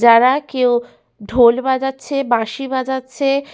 যারা কেউ ঢোল বাজাচ্ছে বাঁশি বাজাচ্ছে ।